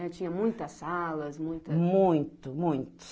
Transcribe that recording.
É, tinha muitas salas, muita... Muito, muito.